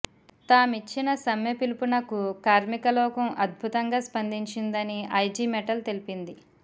తామిచ్చిన సమ్మె పిలుపు నకు కార్మికలోకం అద్భుతంగా స్పందించిందని ఐజి మెటల్ తెలిపింది